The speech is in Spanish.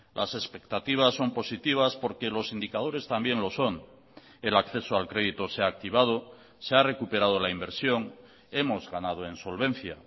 las expectativas son positivas porque los indicadores también lo son el acceso al crédito se ha activado se ha recuperado la inversión hemos ganado en solvencia